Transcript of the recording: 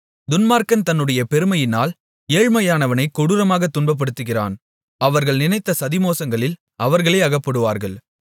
துன்மார்க்கன் தன்னுடைய பெருமையினால் ஏழ்மையானவனை கொடூரமாகத் துன்பப்படுத்துகிறான் அவர்கள் நினைத்த சதிமோசங்களில் அவர்களே அகப்படுவார்கள்